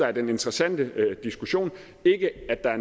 er den interessante diskussion ikke at